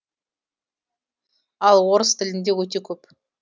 ал орыс тілінде өте көп